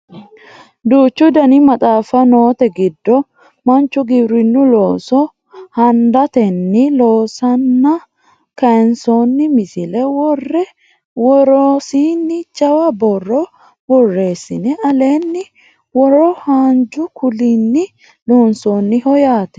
duuchu dani maxaaffa noote giddo manchu giwirinnu looso handatenni loosanna kayiinsoonni misile worre worosiinni jawa borro borreessine alenna woro haanju kuulinni loonsoonniho yaate